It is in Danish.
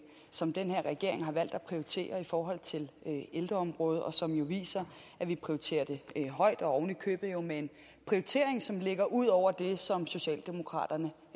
som den her regering har valgt at prioritere i forhold til ældreområdet og som jo viser at vi prioriterer det højt og oven i købet med en prioritering som ligger ud over det som socialdemokraterne